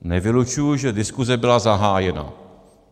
Nevylučuji, že diskuse byla zahájena.